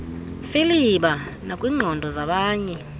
mfiliba nakwiingqondo zabanye